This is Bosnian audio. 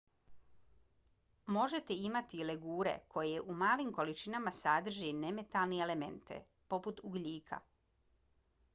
možete imati i legure koje u malim količinama sadrže nemetalne elemente poput ugljika